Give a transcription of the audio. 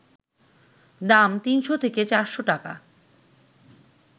দাম ৩শ’ থেকে ৪শ’ টাকা